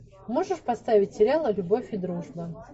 можешь поставить сериал любовь и дружба